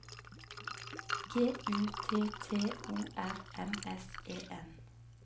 G U T T O R M S E N